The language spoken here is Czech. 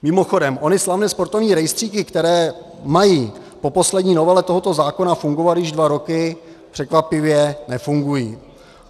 Mimochodem, ony slavné sportovní rejstříky, které mají po poslední novele tohoto zákona fungovat již dva roky, překvapivě nefungují.